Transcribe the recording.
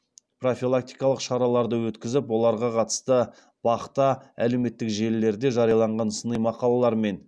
профилактикалық шараларды өткізіп оларға қатысты бақ та әлеуметтік желілерде жарияланған сыни мақалалар мен мәліметтерге мониторинг жасап отырады